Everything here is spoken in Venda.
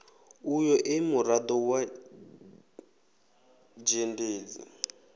uyo e murado wa dzhendedzi